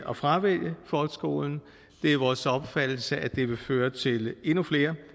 at fravælge folkeskolen det er vores opfattelse at det vil føre til endnu flere